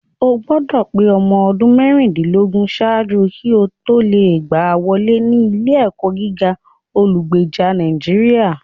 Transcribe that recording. O gbọdọ̀ pé ọmọ ọdún méjìdínlógún ṣáájú kí o tó lè gbá wọlé ní ilé-ẹ̀kọ́ gíga olùgbèjà Nàìjíríà